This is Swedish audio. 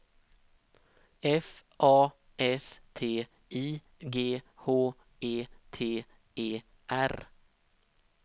F A S T I G H E T E R